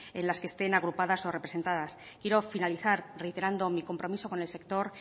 en las que estén agrupadas o representadas quiero finalizar reiterando mi compromiso con el sector